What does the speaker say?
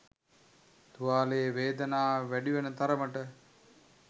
තුවාලයේ වේදනාව වැඩිවන තරමට